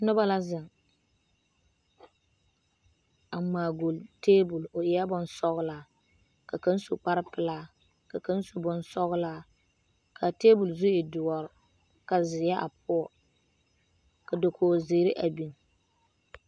Noba la zeŋ, a ŋmaa golli teebol, o eɛ bonsɔgelaa, ka kaŋ su kpare pelaa ka kaŋ su bonsɔgelaa ka a teebol zu e doɔre ka zeɛ a poɔ ka dakogi zeere a biŋ.